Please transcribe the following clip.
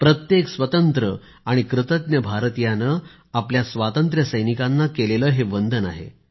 प्रत्येक स्वतंत्र आणि कृतज्ञ भारतीयाने आपल्या स्वातंत्र्यसैनिकांना केलेले हे वंदन आहे